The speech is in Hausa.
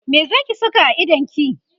me Zaki Saka a idonki?